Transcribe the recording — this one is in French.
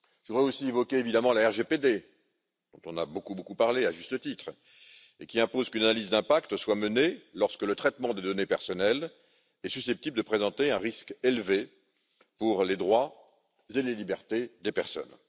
Je voudrais aussi évoquer, évidemment, le RGPD, dont on a beaucoup parlé, à juste titre, et qui impose qu'une analyse d'impact soit menée lorsque le traitement des données personnelles est susceptible de présenter un risque élevé pour les droits et les libertés des personnes.